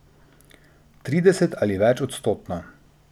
Trideset ali več odstotno.